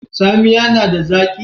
Tsamiya nada zaki?